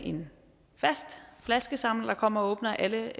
en fast flaskesamler der kommer og åbner alle